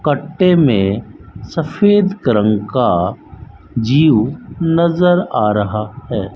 कट्टे मे सफेद रंग का जीव नज़र आ रहा है।